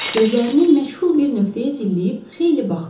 Gözlərini məşğul bir nöqtəyə zilləyib xeyli baxdı.